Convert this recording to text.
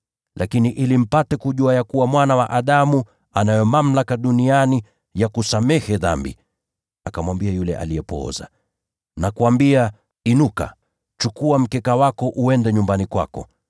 Lakini ili mpate kujua kwamba Mwana wa Adamu anayo mamlaka duniani kusamehe dhambi…” Akamwambia yule aliyepooza, “Nakuambia, inuka, chukua mkeka wako, uende nyumbani kwako.”